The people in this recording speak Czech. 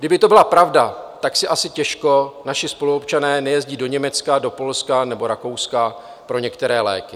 Kdyby to byla pravda, tak si asi těžko naši spoluobčané nejezdí do Německa, do Polska nebo Rakouska pro některé léky.